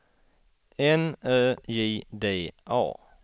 N Ö J D A